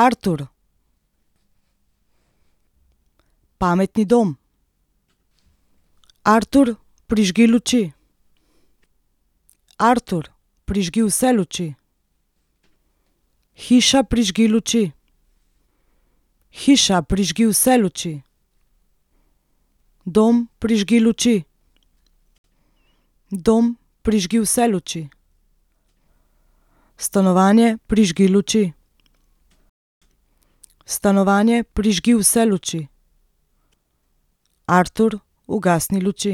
Artur. Pametni dom. Artur, prižgi luči. Artur, prižgi vse luči. Hiša, prižgi luči. Hiša, prižgi vse luči. Dom, prižgi luči. Dom, prižgi vse luči. Stanovanje, prižgi luči. Stanovanje, prižgi vse luči. Artur, ugasni luči.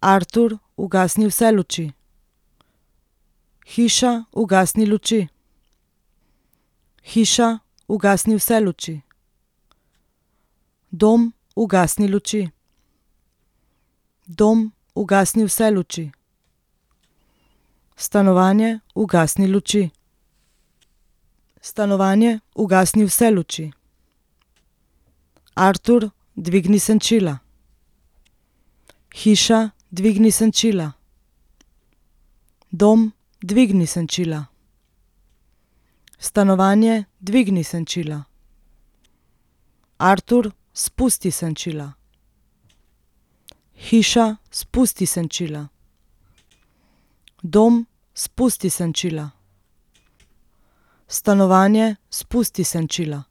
Artur, ugasni vse luči. Hiša, ugasni luči. Hiša, ugasni vse luči. Dom, ugasni luči. Dom, ugasni vse luči. Stanovanje, ugasni luči. Stanovanje, ugasni vse luči. Artur, dvigni senčila. Hiša, dvigni senčila. Dom, dvigni senčila. Stanovanje, dvigni senčila. Artur, spusti senčila. Hiša, spusti senčila. Dom, spusti senčila. Stanovanje, spusti senčila.